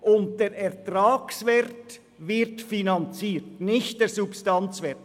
Und der Ertragswert wird finanziert, nicht der Substanzwert.